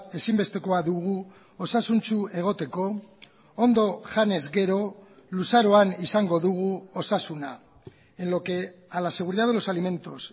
ezinbestekoa dugu osasuntsu egoteko ondo janez gero luzaroan izango dugu osasuna en lo que a la seguridad de los alimentos